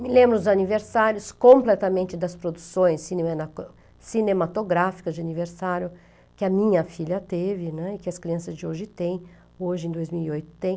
Me lembro dos aniversários completamente das produções cinemato, cinematográficas de aniversário que a minha filha teve e que as crianças de hoje têm, hoje em dois mil e oito têm.